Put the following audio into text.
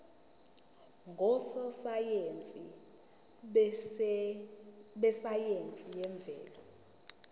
ngososayense besayense yemvelo